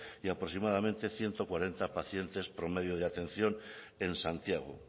y aproximadamente ciento cuarenta pacientes promedio de atención en santiago